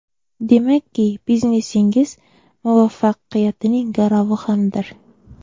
Demakki, biznesingiz muvaffaqiyatining garovi hamdir.